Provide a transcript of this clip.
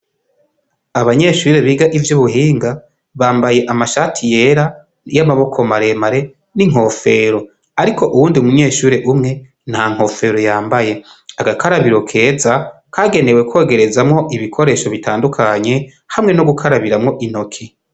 Abanyeshure biga ivy'ubuhinga bambaye amashati yera y'amaboko maremare n'inkofero, ariko uwundi munyeshuri umwe nta nkofero yambaye, agakarabiro keza kagenewe kwogerezamwo ibikoresho bitandukanye hamwe no gukarabiramwo intoke.